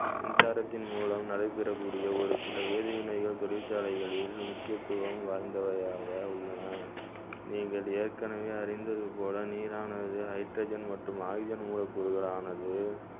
மின்சாரத்தின் மூலம் நடைபெறக்கூடிய ஒரு சில வேதி வினைகள் தொழிற்சாலைகளில் முக்கியத்துவம் வாய்ந்தவையாக உள்ளன நீங்கள் ஏற்கனவே அறிந்தது போல நீரானது hydrogen மற்றும் oxygen மூலக்கூறுகளானது